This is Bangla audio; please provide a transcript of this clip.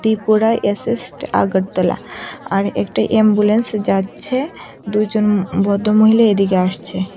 ত্রিপুরা অ্যাসেস্ট আগরতলা আর একটা এম্বুলেন্স যাচ্ছে দুইজন ভদ্র মহিলা এদিকে আসছে।